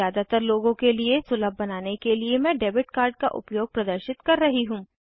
ज़्यादातर लोगों के लिए सुलभ बनाने के लिए मैं डेबिट कार्ड का उपयोग प्रदर्शित कर रही हूँ